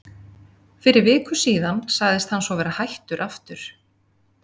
Fyrir viku síðan sagðist hann svo vera hættur aftur.